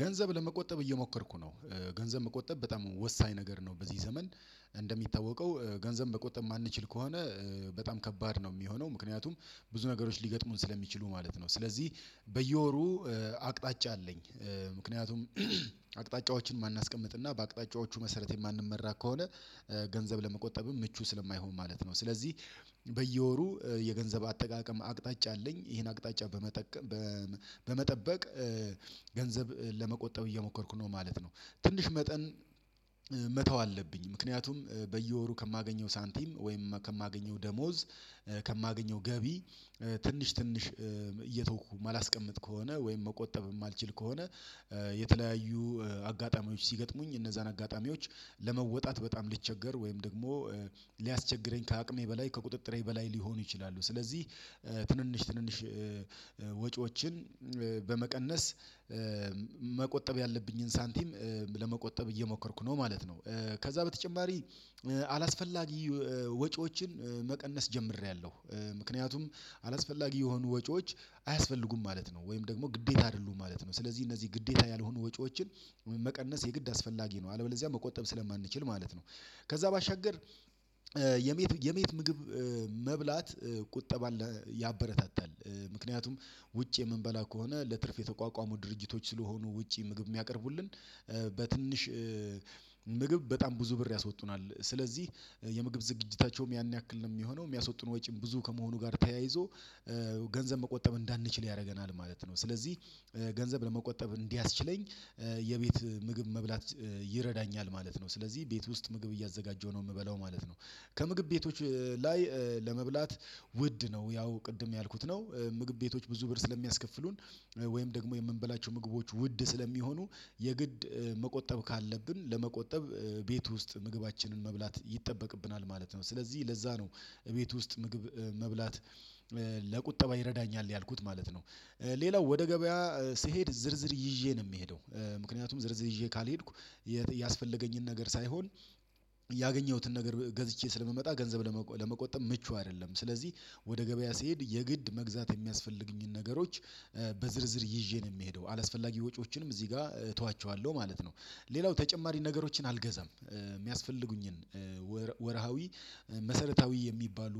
ገንዘብ ለመቆጠብ እየሞከርኩ ነው ገንዘብ መቆጠብ በጣም ወሳኝ ነገር ነው። በዚህ ዘመን እንደሚታወቀው ገንዘብ በቆጠብ የማንችል ከሆነ በጣም ከባድ ነው የሚሆነው ምክንያቱም ብዙ ነገሮች ሊገጥሙን ስለሚችሉ ማለት ነው ስለዚህ በየወሩ አቅጣጫ አለኝ ምክንያቱም አቅጣጫዎችን ማነስ ቀምጥና በአቅጣጫዎቹ መሰረት የማንመራ ከሆነ ገንዘብ ለመቆጠብም ምቹ ስለማይሆን ማለት ነው ስለዚህ በየወሩ የገንዘብ አጠቃቀም አቅጣጫ አለኝ ይሄን አቅጣጫ በመጠቀም ገንዘብ ለመቆጠብ እየሞከርኩ ነው ማለት ነው። ትንሽ መጠን መተው አለብኝ ምክንያቱም በየወሩ ከማገኘው ሳንቲም ወይም ከማገኘው ደሞዝ ከማገኘው ገቢ ትንሽ ትንሽ እየተውኩ የማላስቀምጥ ከሆነ ወይም መቆጠብ የማልችል ከሆነ የተለያዩ አጋጣሚዎች ሲገጥሙኝ እነዛን አጋጣሚዎች ለመወጣት በጣም ሊቸገር ወይም ደግሞ ሊያስቸግረኝ ከአቅሜ በላይ ከቁጥጥሬ በላይ ሊሆኑ ይችላሉ፣ ስለዚህ ትንንሽ ትንንሽ ወጪዎችን በመቀነስ መቆጠብ ያለብኝን ሳንቲም ለመቆጠብ እየሞከርኩ ነው ማለት ነው። ከዛ በተጨማሪ አላስፈላጊ ወጪዎችን መቀነስ ጀምሬያለሁ ምክንያቱም አላስፈላጊ የሆኑ ወጪዎች አያስፈልጉም ማለት ነው። ወይም ደግሞ ግዴታ አይደሉም ማለት ነው ስለዚህ እነዚህ ግዴታ ያልሆኑ ወጪዎችን ወይም መቀነስ የግድ አስፈላጊ ነው አለበለዚያ መቆጠብ ስለማንችል ማለት ነው ከዛ ባሻገር የመየት የመየት ምግብ መብላት ቁጠባ ያበረታታል ምክንያቱም ውጭ የምንበላ ከሆነ ለትርፍ የተቋቋሙ ድርጅቶች ስለሆኑ ውጪ ምግብ ሚያቀርቡልን በትንሽ ምግብ በጣም ብዙ ብር ያስወጡናል ስለዚህ የምግብ ዝግጅታቸውም ያን ያክል ነው የሚሆነው የሚያስወጡን ወጪም ብዙ ከመሆኑ ጋር ተያይዞ ገንዘብ መቆጠብ እንዳንችል ያደርገናል ማለት ነው ስለዚህ ገንዘብ ለመቆጠብ እንዲያስችለኝ የቤት ምግብ መብላት ይረዳኛል ማለት ነው ስለዚህ ቤት ውስጥ ምግብ እያዘጋጀሁ ነው የምበላው ማለት ነው ከምግብ ቤቶች ላይ ለመብላት ውድ ነው ያው ቅድም ያልኩት ነው ምግብ ቤቶች ብዙ ብር ስለሚያስከፍሉን ወይም ደግሞ የምንበላቸው ምግቦች ውድ ስለሚሆኑ የግድ መቆጠብ ካለብን ለመቆጠብ ቤት ውስጥ ምግባችንን መብላት ይጠበቅብናል ማለት ነው። ስለዚህ ለዛ ነው እቤት ውስጥ ምግብ መብላት ለቁጠባ ይረዳኛል ያልኩት ማለት ነው። ሌላው ወደ ገበያ ስሄድ ዝርዝር ይዤ ነው የምሄደው። ምክንያቱም ዝርዝር ይዤ ካልሄድኩ ያስፈለገኝን ነገር ሳይሆን ያገኘሁትን ነገር ገዝቼ ስለምመጣ ገንዘብ ለመቆጠብ ምቹ አይደለም ስለዚህ ወደ ገበያ ስሄድ የግድ መግዛት የሚያስፈልጉኝን ነገሮች በዝርዝር ይዤ ነው የምሄደው አላስፈላጊ ወጪዎችንም እዚህ ጋር እተዋቸዋለሁ ማለት ነው። ሌላው ተጨማሪ ነገሮችን አልገዛም የሚያስፈልጉኝን ወርሃዊ መሰረታዊ የሚባሉ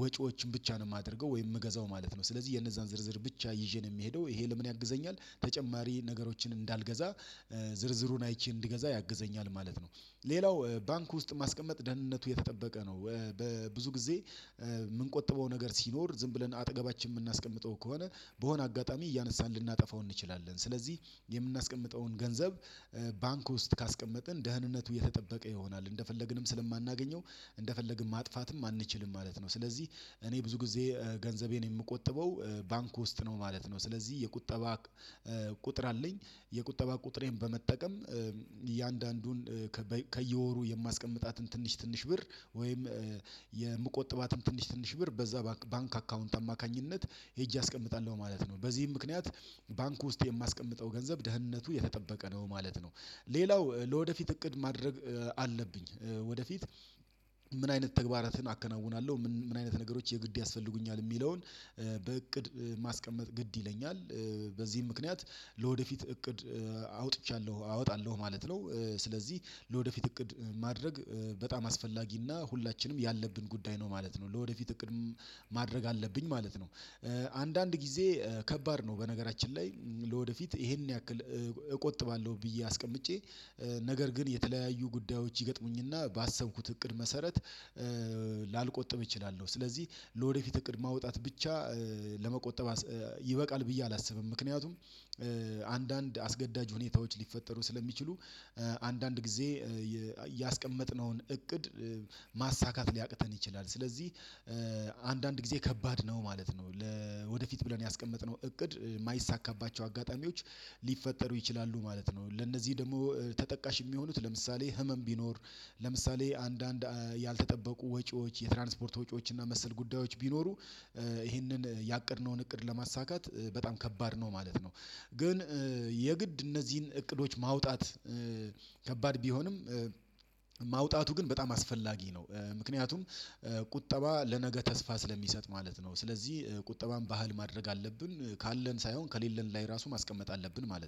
ወጪዎችን ብቻ ነው የማደርገው ወይም ምገዛው ማለት ነው። ስለዚህ የነዛን ዝርዝር ብቻ ይዤ ነው የሚሄደው ይሄ ለምን ያግዘኛል ተጨማሪ ነገሮችን እንዳልገዛ ዝርዝሩን አይቼ እንድገዛ ያግዘኛል ማለት ነው ሌላው ባንክ ውስጥ ማስቀመጥ ደህንነቱ የተጠበቀ ነው በብዙ ጊዜ የምንቆጥበው ነገር ሲኖር ዝም ብለን አጠገባችን የምናስቀምጠው ከሆነ በሆነ አጋጣሚ እያነሳን ልናጠፋው እንችላለን ስለዚህ የምናስቀምጠውን ገንዘብ ባንክ ውስጥ ካስቀመጥን ደህንነቱ የተጠበቀ ይሆናል እንደፈለግንም ስለማናገኘው እንደፈለግን ማጥፋትም አንችልም ማለት ነው፣ ስለዚህ እኔ ብዙ ጊዜ ገንዘቤን የምቆጥበው ባንክ ውስጥ ነው ማለት ነው ስለዚህ የቁጠባ ቁጥር አለኝ የቁጠባ ቁጥሬን በመጠቀም እያንዳንዱን ከየወሩ የማስቀምጣትን ትንሽ ብር ወይም የምቆጥባትን ትንሽ ትንሽ ብር በዛ ባንክ አካውንት አማካኝነት ሄጄ አስቀምጣለሁ ማለት ነው በዚህም ምክንያት ባንኩ ውስጥ የማስቀምጠው ገንዘብ ደህንነቱ የተጠበቀ ነው ማለት ነው። ሌላው ለወደፊት እቅድ ማድረግ አለብኝ ወደፊት ምን አይነት ተግባራትን አከናውናለሁ ምን አይነት ነገሮች የግድ ያስፈልጉኛል የሚለውን በእቅድ ማስቀመጥ ግድ ይለኛል በዚህም ምክንያት ለወደፊት እቅድ አውጥቻለሁ አወጣለሁ ማለት ነው። ስለዚህ ለወደፊት እቅድ ማድረግ በጣም አስፈላጊና ሁላችንም ያለብን ጉዳይ ነው ማለት ነው ለወደፊት እቅድም ማድረግ አለብኝ ማለት ነው። አንዳንድ ጊዜ ከባድ ነው በነገራችን ላይ ለወደፊት ይሄን ያክል እቆጥባለሁ ብዬ አስቀምጬ ነገር ግን የተለያዩ ጉዳዮች ይገጥሙኝና ባሰብኩት እቅድ መሰረት ላልቆጥብ እችላለሁ ስለዚህ ለወደፊት እቅድ ማውጣት ብቻ ለመቆጠብ ይበቃል ብዬ አላስብም ምክንያቱም አንዳንድ አስገዳጅ ሁኔታዎች ሊፈጠሩ ስለሚችሉ አንዳንድ ጊዜ ያስቀመጥነውን እቅድ ማሳካት ሊያቅተን ይችላል፣ ስለዚህ አንዳንድ ጊዜ ከባድ ነው ማለት ነው ለወደፊት ብለን ያስቀመጥነው እቅድ የማይሳካባቸው አጋጣሚዎች ሊፈጠሩ ይችላሉ ማለት ነው ለእነዚህ ደግሞ ተጠቃሽ የሚሆኑት ለምሳሌ ህመም ቢኖር ለምሳሌ አንዳንድ ያልተጠበቁ ወጪዎች የትራንስፖርት ወጪዎች እና መሰል ጉዳዮች ቢኖሩ ይህንን ያቀድነውን እቅድ ለማሳካት በጣም ከባድ ነው ማለት ነው። ግን የግድ እነዚህን እቅዶች ማውጣት ከባድ ቢሆንም ማውጣቱ ግን በጣም አስፈላጊ ነው ምክንያቱም ቁጠባ ለነገ ተስፋ ስለሚሰጥ ማለት ነው። ስለዚህ ቁጠባም ባህል ማድረግ አለብን ካለን ሳይሆን ከሌለን ላይ ራሱ ማስቀመጥ አለብን ማለት ነው።